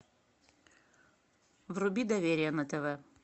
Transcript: вруби доверие на тв